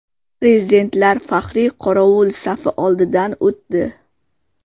Prezidentlar faxriy qorovul safi oldidan o‘tdi.